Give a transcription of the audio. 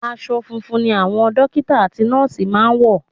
Aṣọ funfun ni àwọn dọ́kítà àti nọ́ọ̀sì máa ń wọ̀.